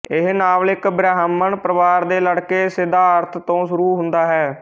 ਇਹ ਨਾਵਲ ਇੱਕ ਬ੍ਰਾਹਮਣ ਪਰਿਵਾਰ ਦੇ ਲੜਕੇ ਸਿੱਧਾਰਥ ਤੋਂ ਸ਼ੁਰੂ ਹੁੰਦਾ ਹੈ